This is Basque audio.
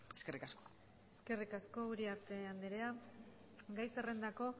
eskerrik asko eskerrik asko uriarte andrea gai zerrendako